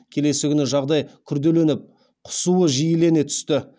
келесі күні жағдай күрделеніп құсуы жиілене түсті